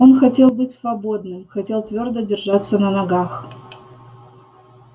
он хотел быть свободным хотел твёрдо держаться на ногах